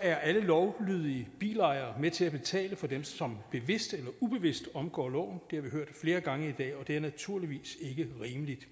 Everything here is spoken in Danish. er alle lovlydige bilejere med til at betale for dem som bevidst eller ubevidst omgår loven det har vi hørt flere gange i dag og det er naturligvis ikke rimeligt